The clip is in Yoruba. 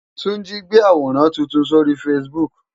Tunji ti gbé àwórán tútún sóri fásibúk